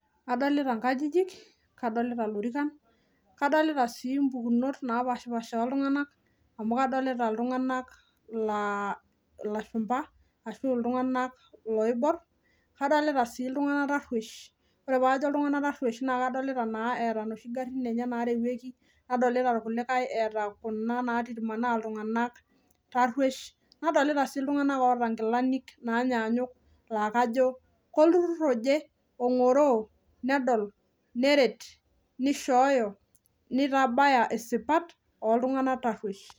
Adolita inkajijik. Kadolita ilorikan. Kadolita si opukunot napashipasha oo iltunganak. Amu kadolita iltunganak laa ilashupa , ashu iltunganak loibor. Kadolita si iltunganak taruesh, ore paajo iltunganak taruesh naa kadolita naa, eeta noshi garin enye narewueki . Nadolita irkulikae etaa kuna namanaa iltunganak taruesh. Nadolita sii iltunganak oota inkilani naanyanyuk laa kajo kolturur oje, ongoroo, nedol, neret, nishooyo, nitabaya isipat oltunganak taruesh.